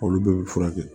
Olu bɛɛ bɛ furakɛ